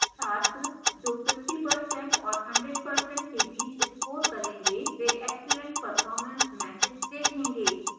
छात्र जो 50% और 100% के बीच score करेंगे वे excellent performance message देखेंगे